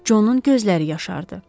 Conun gözləri yaşardı.